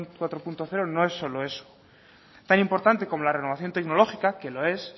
cuatro punto cero no es solo eso tan importante como la renovación tecnológica que lo es